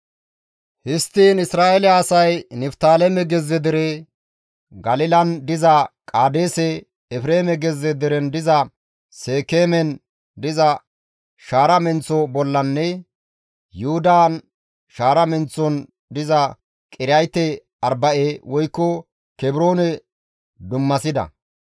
Histtiin Isra7eele asay Niftaaleme gezze dere, Galilan diza Qaadeese, Efreeme gezze deren diza Seekeemen diza shaara menththo bollanne Yuhudan shaara menththon diza Qiriyaate-Arba7e woykko Kebroone dummasida.